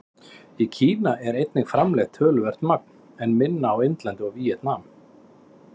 Í Kína er einnig framleitt töluvert magn, en minna á Indlandi og í Víetnam.